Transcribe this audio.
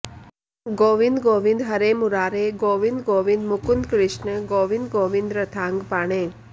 गोविन्द गोविन्द हरे मुरारे गोविन्द गोविन्द मुकुन्द कृष्ण गोविन्द गोविन्द रथाङ्गपाणे